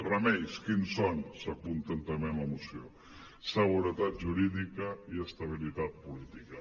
remeis quins són s’apunten també en la moció seguretat jurídica i estabilitat política